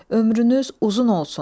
Ömrünüz uzun olsun.